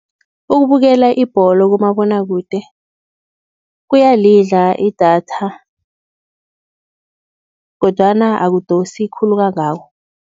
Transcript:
Ukubukela ibholo kumabonakude kuyalidla idatha kodwana ukudosi khulu kangako.